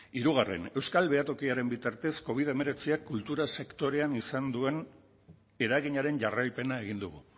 hirugarren euskal behatokiaren bitartez covid hemeretziak kultura sektorean izan duen eraginaren jarraipena egin dugu